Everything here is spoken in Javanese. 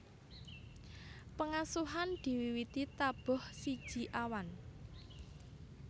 Pengasuhan diwiwiti tabuh siji awan